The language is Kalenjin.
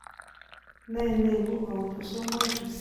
Nee neibu autosomal recesive craniometaphyseal dysplasia?